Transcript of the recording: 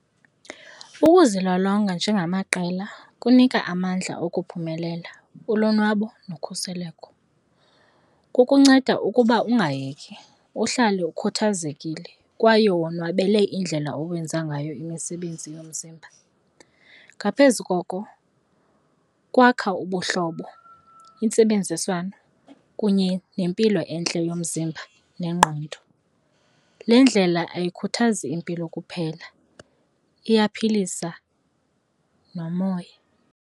Ukuzilolonga njengamaqela kunika amandla okuphumelela, ulonwabo nokhuseleko. Kukunceda ukuba ungayeki, uhlale ukhathazekile kwaye wonwabele indlela owenza ngayo imisebenzi yomzimba. Ngaphezu koko kwakha ubuhlobo, intsebenziswano kunye nempilo entle yomzimba nengqondo. Le ndlela ayikhuthazi impilo kuphela, iyaphilisa nomoya.